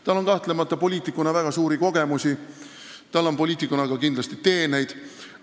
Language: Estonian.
Tal on kahtlemata väga suuri kogemusi poliitikuna, tal on kindlasti ka teeneid poliitikuna.